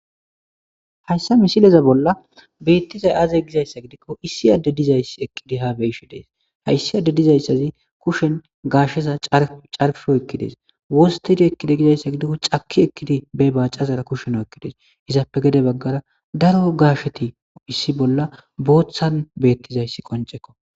Hayisa missileza bolla bettizay aze gizayissa gidikko Issi adey dizayis ha eqidi beyishshe des hayisi adez dizayisazi kishen gashsheza carppi oyikides wostidi ekide gizayisa gidikko caki ekidi bacazara kushen oyikides izappe gede bagara daro gasheti issi bolla boththan betizayisi qoncekko